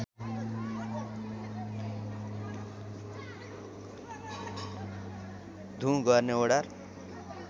धुँ गर्ने वडार